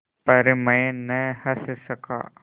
पर मैं न हँस सका